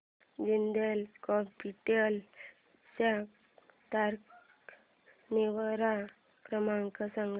Jindal Capital चा तक्रार निवारण क्रमांक सांग